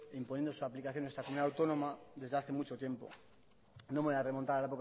imponiendo su aplicación en nuestra comunidad autónoma desde hace mucho tiempo no me voy a remontar